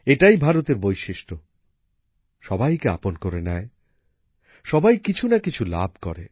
এটাই ভারতের বৈশিষ্ট্য সবাইকে আপন করে নেয় সবাই কিছু না কিছু লাভ করে